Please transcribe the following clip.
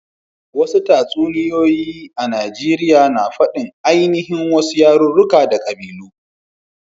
Wasu tatsuniya Najeriya ana fadin aininhin wasu yaruruka da kabilu.